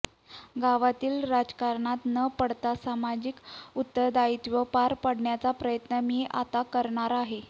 गावातील राजकारणात न पडता सामाजिक उत्तरदायीत्व पार पाडण्याचा प्रयत्न मी आता करणार आहे